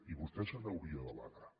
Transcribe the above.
i vostè se n’hauria d’alegrar